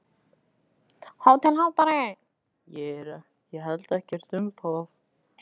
HÓTELHALDARI: Ég held ekkert um það.